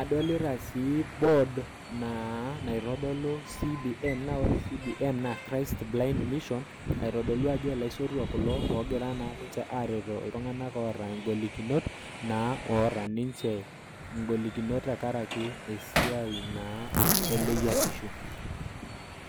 adolita sii board naa naitodolu CBM naa ore CBM naa Christ Blind Mission, aitodolu ajo ilaisotuak kulo oogira naa ninche aaretoo iltung'anak aoata ing'olikinot naa oata ninche ing'olikinot tenkaraki esiai naa eleyiatishu.